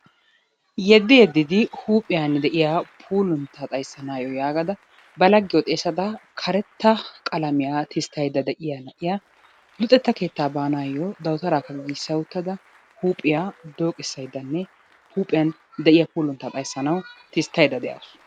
Yeddi yeddidi huuphiyaan de'iya puulunta xayssanayyo yaagada ba laggiyo xeessada karetta qalamiya tisttaydda de'iyaa na'iya luxetta keettaa baanayo dawutarakka giigissa uttada huuphiyaa dokkisayddanee huuphiyaan de'iyaa puuluntta xayssanaw tisttaydda de'awus.